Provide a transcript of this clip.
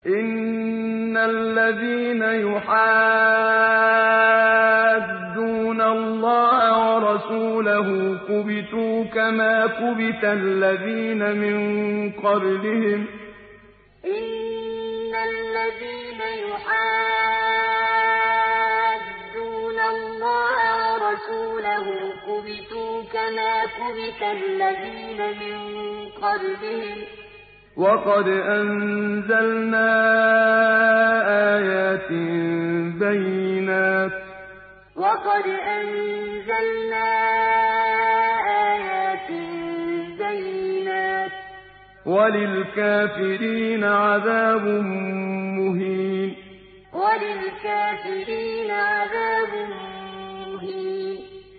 إِنَّ الَّذِينَ يُحَادُّونَ اللَّهَ وَرَسُولَهُ كُبِتُوا كَمَا كُبِتَ الَّذِينَ مِن قَبْلِهِمْ ۚ وَقَدْ أَنزَلْنَا آيَاتٍ بَيِّنَاتٍ ۚ وَلِلْكَافِرِينَ عَذَابٌ مُّهِينٌ إِنَّ الَّذِينَ يُحَادُّونَ اللَّهَ وَرَسُولَهُ كُبِتُوا كَمَا كُبِتَ الَّذِينَ مِن قَبْلِهِمْ ۚ وَقَدْ أَنزَلْنَا آيَاتٍ بَيِّنَاتٍ ۚ وَلِلْكَافِرِينَ عَذَابٌ مُّهِينٌ